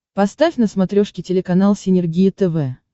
поставь на смотрешке телеканал синергия тв